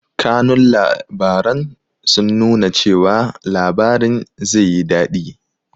Kanun labaran sun nuna cewa labarin zeyi daɗi